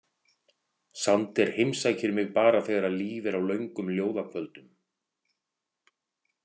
Sander heimsækir mig bara þegar Líf er á löngum ljóðakvöldum.